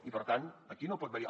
i per tant aquí no pot haver hi